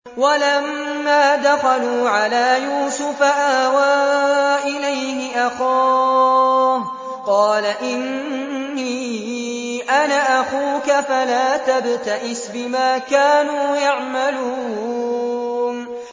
وَلَمَّا دَخَلُوا عَلَىٰ يُوسُفَ آوَىٰ إِلَيْهِ أَخَاهُ ۖ قَالَ إِنِّي أَنَا أَخُوكَ فَلَا تَبْتَئِسْ بِمَا كَانُوا يَعْمَلُونَ